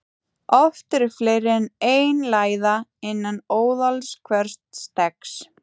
Oft eru fleiri en ein læða innan óðals hvers steggs.